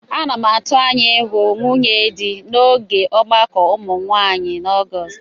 Ana m atụ anya ịhụ nwunye dị n'oge ọgbakọ ụmụ nwaanyị na Ọgọọst.